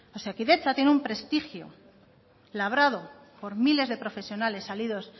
osakidetza tiene un prestigio labrado por miles de profesionales salidos